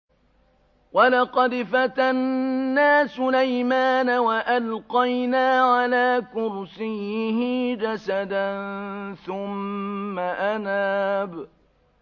وَلَقَدْ فَتَنَّا سُلَيْمَانَ وَأَلْقَيْنَا عَلَىٰ كُرْسِيِّهِ جَسَدًا ثُمَّ أَنَابَ